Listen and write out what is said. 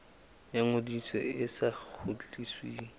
ya ngodiso e sa kgutlisweng